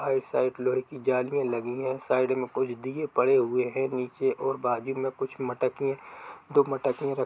Side लोहे की जलिंया लगी हैसाइड मे कुछ दिए पड़े हुए है। नीचे और बाग मे कुछ मटके दो मटके--